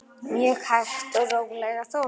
Mjög hægt og rólega þó.